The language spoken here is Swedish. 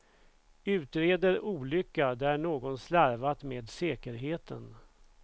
Utreder olycka där någon slarvat med säkerheten.